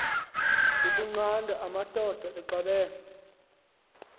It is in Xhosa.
ukunqanda amadoda axabene